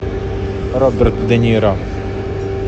роберт де ниро